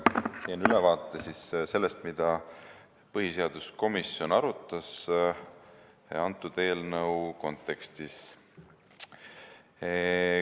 Teen ülevaate sellest, mida põhiseaduskomisjon arutas antud eelnõu kontekstis.